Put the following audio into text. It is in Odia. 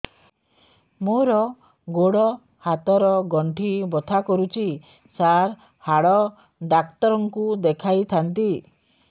ମୋର ଗୋଡ ହାତ ର ଗଣ୍ଠି ବଥା କରୁଛି ସାର ହାଡ଼ ଡାକ୍ତର ଙ୍କୁ ଦେଖାଇ ଥାନ୍ତି